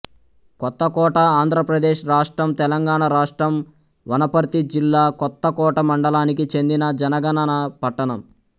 కొత్తకోటఆంధ్ర ప్రదేశ్ రాష్ట్రం తెలంగాణ రాష్ట్రం వనపర్తి జిల్లాకొత్తకోట మండలానికి చెందిన జనగణన పట్టణం